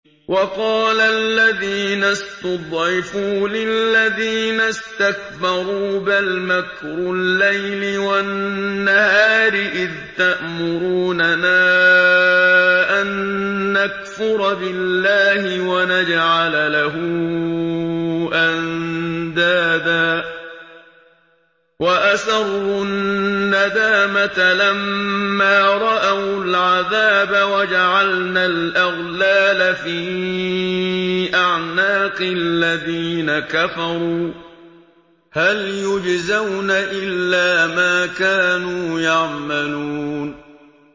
وَقَالَ الَّذِينَ اسْتُضْعِفُوا لِلَّذِينَ اسْتَكْبَرُوا بَلْ مَكْرُ اللَّيْلِ وَالنَّهَارِ إِذْ تَأْمُرُونَنَا أَن نَّكْفُرَ بِاللَّهِ وَنَجْعَلَ لَهُ أَندَادًا ۚ وَأَسَرُّوا النَّدَامَةَ لَمَّا رَأَوُا الْعَذَابَ وَجَعَلْنَا الْأَغْلَالَ فِي أَعْنَاقِ الَّذِينَ كَفَرُوا ۚ هَلْ يُجْزَوْنَ إِلَّا مَا كَانُوا يَعْمَلُونَ